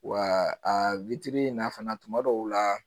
Wa a in na fana tuma dɔw la